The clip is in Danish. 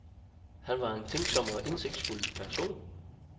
Han var en tænksom og indsigtsfuld person.